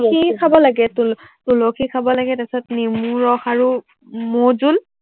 ঘি খাব লাগে, তু তুলসী খাব লাগে, তাৰপিছত নেমু ৰস আৰু মৌজুল